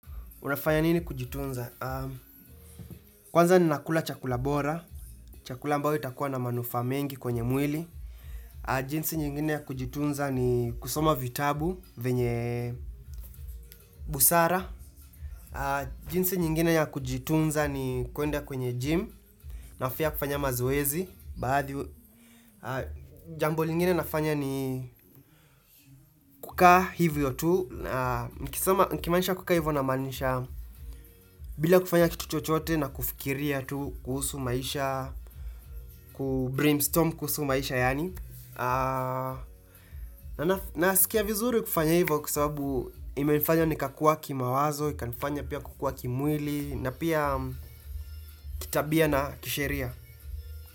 Unafanya nini kujitunza? Kwanza ni nakula chakula bora. Chakula ambao itakuwa na manufaa mengi kwenye mwili. Jinsi nyingine ya kujitunza ni kusoma vitabu venye busara. Jinsi nyingine ya kujitunza ni kuenda kwenye gym. Na pia kufanya mazoezi. Baadhi Jambo lingine nafanya ni kukaa hivyo tu. Nikisoma nikimanisha kukaa hivyo na maanisha. Bila kufanya kitu chochote na kufikiria tu kuhusu maisha. Kubrain storm kuhusu maisha yaani na sikia vizuri kufanya hivyo kwasababu imefanya nikakua kima wazo ikanifanya pia kukua kimwili na pia kitambia na kisheria.